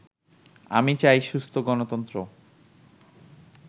আমি চাই সুস্থ গণতন্ত্র